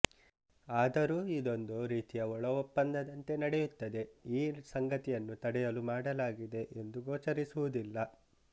ಆದರೂ ಇದೊಂದು ರೀತಿಯ ಒಳಒಪ್ಪಂದಂತೆ ನಡೆಯುತ್ತದೆ ಈ ಸಂಗತಿಯನ್ನು ತಡೆಯಲು ಮಾಡಲಾಗಿದೆ ಎಂದು ಗೋಚರಿಸುವುದಿಲ್ಲ